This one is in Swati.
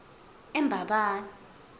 embabane